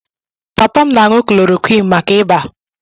Papa m na-aṅụ chloroquine maka ịba